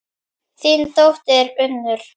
Þín dóttir, Unnur.